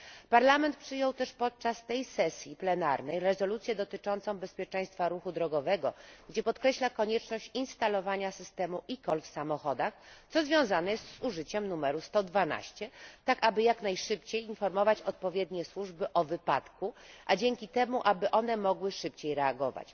Parlament przyjął też podczas tej sesji plenarnej rezolucję dotyczącą bezpieczeństwa ruchu drogowego, w której podkreśla konieczność instalowania systemu eCall w samochodach, co związane jest z użyciem numeru 112, tak aby jak najszybciej informować odpowiednie służby o wypadku, a dzięki temu aby one mogły szybciej reagować.